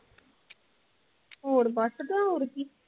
ਹੋਰ ਬਸ ਤੇ ਹੋਰ ਕੀ